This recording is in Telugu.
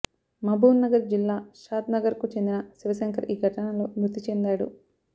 మహబూబ్ నగర్ జిల్లా షాద్ నగర్కు చెందిన శివశంకర్ ఈ ఘటనలో మృతి చెందాడు